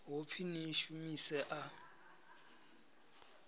ho pfi ni shumise a